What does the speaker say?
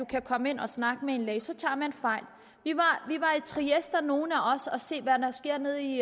kan komme ind og snakke med en læge tager man fejl nogle af os at se hvad der sker nede i